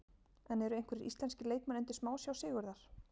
En eru einhverjir íslenskir leikmenn undir smásjá Sigurðar?